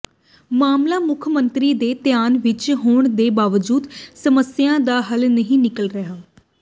ਮਾਮਲਾ ਮੁੱਖ ਮੰਤਰੀ ਦੇ ਧਿਆਨ ਵਿੱਚ ਹੋਣ ਦੇ ਬਾਵਜੂਦ ਸਮੱਸਿਆ ਦਾ ਹੱਲ ਨਹੀਂ ਨਿਕਲ ਰਿਹਾ